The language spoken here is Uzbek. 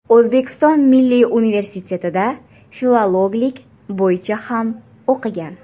O‘zbekiston milliy universitetida filologlik bo‘yicha ham o‘qigan.